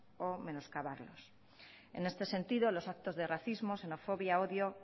o menoscabarlos en este sentido los actos de racismo xenofobia odio